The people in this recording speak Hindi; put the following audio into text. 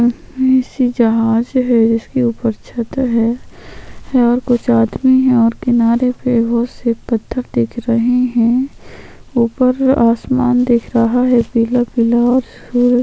बड़ी सी जहाज हैं इसके ऊपर छत्त है यहाँ कुछ आदमी है और किनारे पे बहोत से पत्थर दिख रहे है ऊपर आसमान दिख रहा है पीला-पीला और सूर्य--